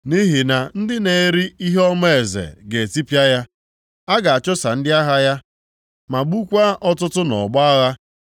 Nʼihi na ndị na-eri ihe ọma eze ga-etipịa ya. A ga-achụsa ndị agha ya, ma gbukwaa ọtụtụ nʼọgbọ agha.